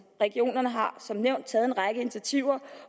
regionerne har som nævnt taget en række initiativer